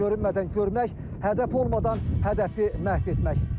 Görünmədən görmək, hədəf olmadan hədəfi məhv etmək.